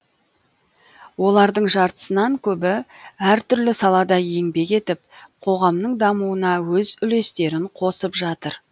олардың жартысынан көбі әртүрлі салада еңбек етіп қоғамның дамуына өз үлестерін қосып жатыр